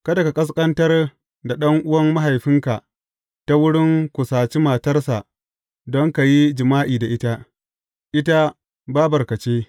Kada ka ƙasƙantar da ɗan’uwan mahaifinka ta wurin kusaci matarsa don ka yi jima’i da ita, ita bābarka ce.